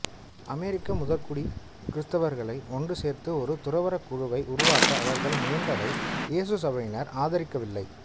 அமெரிக்க முதற்குடி கிறித்தவர்களை ஒன்றுசேர்த்து ஒரு துறவறக் குழுவை உருவாக்க அவர்கள் முயன்றதை இயேசு சபையினர் ஆதரிக்கவில்லை